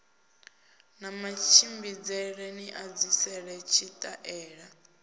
na matshimbidzele ni edzisele tshitaela